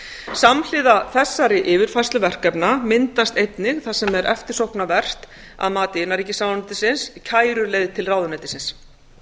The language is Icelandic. samhliða þessari yfirfærslu verkefna myndast einnig það sem er eftirsóknarvert að mati innanríkisráðuneytisins kæruleið til ráðuneytisins